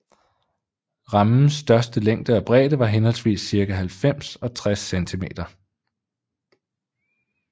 Rammens største længde og bredde var henholdsvis cirka halvfems og tres cm